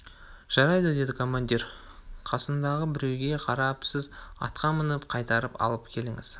жарайды деді командир қасындағы біреуге қарап сіз атқа мініп қайтарып алып келіңіз